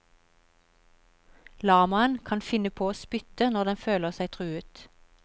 Lamaen kan finne på å spytte når den føler seg truet.